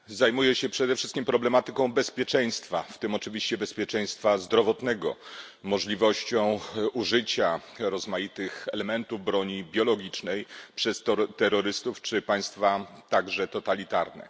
Panie Przewodniczący! Zajmuję się przede wszystkim problematyką bezpieczeństwa, w tym oczywiście bezpieczeństwa zdrowotnego, możliwością użycia rozmaitych elementów broni biologicznej przez terrorystów czy państwa totalitarne.